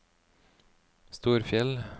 Storfjell